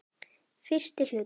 Fyrsti hluti